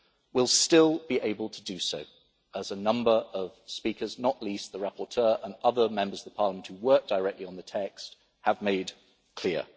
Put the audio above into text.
will still be able to do so, as a number of speakers, not least the rapporteur and other Members of Parliament who worked directly on the text, have made clear.